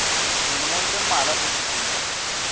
dilemong tse mmalwa tse fetileng